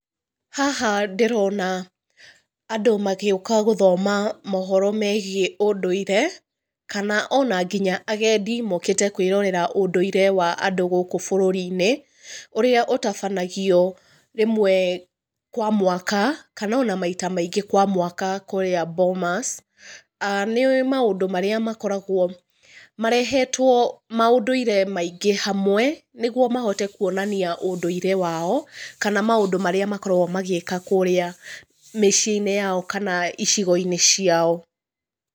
Haha ndĩrona andũ magĩũka gũthoma mohoro megiĩ ũndũire, kana ona nginya agendi mokĩte kwĩrorera ũndũire wa andũ gũkũ bũrũri-inĩ ũrĩa ũtabanagio rĩmwe kwa mwaka kana ona maita maingĩ kwa mwaka kũrĩa Bomas. Nĩ maũndũ marĩa makoragũo marehetwo maũndũire maingĩ hamwe nĩguo mahote kũonania ũndũire wao kana maũndũ marĩa makoragũo magĩka kũrĩa mĩciĩ-inĩ yao kana icigo-inĩ ciao.